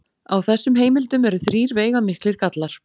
Á þessum heimildum eru þrír veigamiklir gallar.